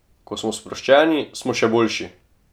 Ko smo sproščeni, smo še boljši!